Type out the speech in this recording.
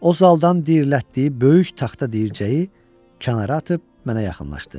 O saldan diriltdiyi böyük taxta dircəyi kənara atıb mənə yaxınlaşdı.